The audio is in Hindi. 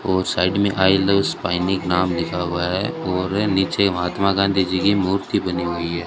वह साइड में आई लव नाम लिखा हुआ है और नीचे महात्मा गांधी जी की मूर्ति बनी हुई है।